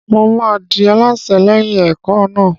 Mo máa di alásè lẹ́yìn ẹ̀kọ́ náà.